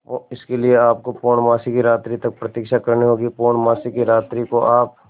इसके लिए आपको पूर्णमासी की रात्रि तक प्रतीक्षा करनी होगी पूर्णमासी की रात्रि को आप